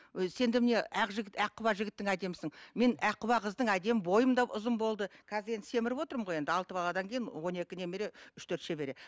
ы сен де міне ақ жігіт аққұба жігіттің әдемісің мен аққұба қыздың әдемі бойым да ұзын болды қазір енді семіріп отырмын ғой енді алты баладан кейін он екі немере үш төрт шөбере